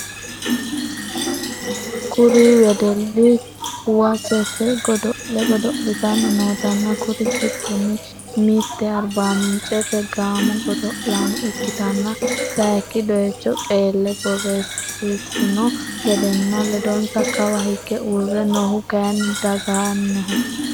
Kuri wedelli kuwasete godo'le godo'litanni notanna kuri giddono mitte arbaminchete gaamo godo'lano ikkitanna sayik doycho qeelle borresissinno gedenna ledonsa kawa hige uurre noohu kayinni daagnaho.